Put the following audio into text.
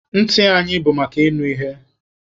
Ntị anyị bụ maka ịnụ ihe.